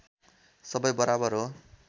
सबै बराबर हो